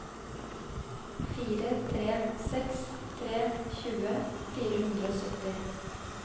fire tre seks tre tjue fire hundre og sytti